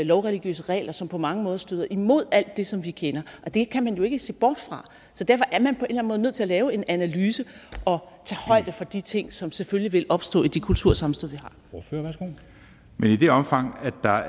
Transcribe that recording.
lovreligiøse regler som på mange måder støder imod alt det som vi kender det kan man jo ikke se bort fra så derfor er man på en måde nødt til at lave en analyse og tage højde for de ting som selvfølgelig vil opstå i det kultursammenstød vi